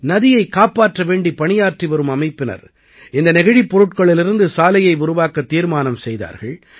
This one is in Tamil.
நதியைக் காப்பாற்ற வேண்டி பணியாற்றி வரும் அமைப்பினர் இந்த நெகிழிப் பொருட்களிலிருந்து சாலையை உருவாக்கத் தீர்மானம் செய்தார்கள்